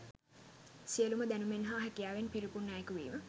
සියලුම දැනුමෙන් හා හැකියාවෙන් පිරිපුන් අයකු වීම